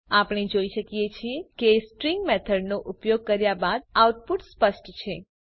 આપણે જોઈ શકીએ છીએ કે સ્ટ્રીંગ મેથડનો ઉપયોગ કર્યા બાદ આઉટપુટ સ્પષ્ટ છે